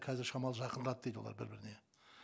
қазір шамалы жақындады дейді олар бір біріне